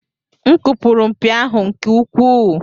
M kụpụrụ mpi ahụ nke ukwuu.